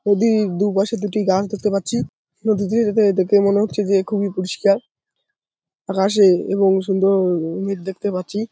ওদিক দুপাশে দুটি গাছ দেখতে পাচ্ছি নদীটি এটাতে দেখে মনে হচ্ছে যে খুবই পরিষ্কার আকাশে এবং সুন্দর উম মেঘ দেখতে পাচ্ছি।